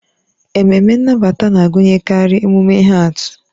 Ememme nnabata na-agụnyekarị emume ihe atụ.